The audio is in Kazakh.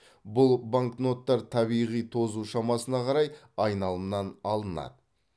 бұл банкноттар табиғи тозу шамасына қарай айналымнан алынады